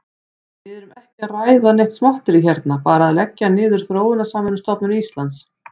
Við erum ekki að ræða neitt smotterí hérna, bara að leggja niður Þróunarsamvinnustofnun Íslands.